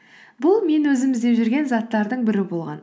бұл мен өзім іздеп жүрген заттардың бірі болған